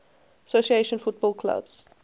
association football clubs